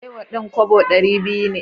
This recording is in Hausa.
Alewa din kobo dari biyu ne.